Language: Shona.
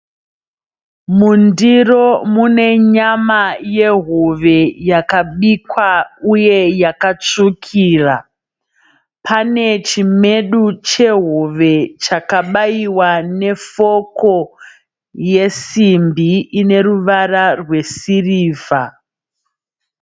Mundiro mune nyama yehove yakabikwa uye yakatsvukira pane chimedu chehove chakabaiwa nefoko yesimbi ine ruvara rwesirivha.